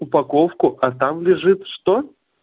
упаковку а там лежит что